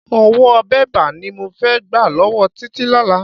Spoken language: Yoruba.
Owó bébà ni mo fẹ́ gbà lọ́wọ́ Títí lọ́la.